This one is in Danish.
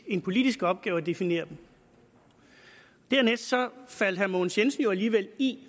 en politisk opgave at definere dem så faldt herre mogens jensen jo alligevel i